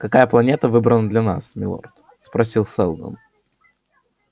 какая планета выбрана для нас милорд спросил сэлдон